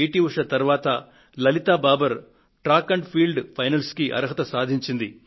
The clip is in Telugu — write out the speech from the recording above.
ఉష తరువాత Lalita Babar track and field finals కు యోగ్యత సాధించారు